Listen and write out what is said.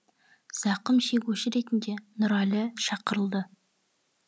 зақым шегуші ретінде нұрәлі шақырылды